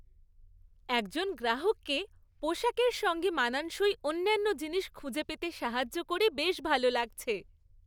একজন গ্রাহককে পোশাকের সঙ্গে মানানসই অন্যান্য জিনিস খুঁজে পেতে সাহায্য করে বেশ ভালো লাগছে।